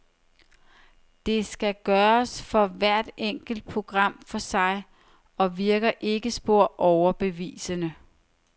Det skal gøres for hvert enkelt program for sig, og virker ikke spor overbevisende.